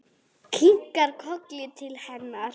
Kinkar kolli til hennar.